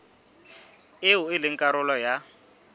eo e leng karolo ya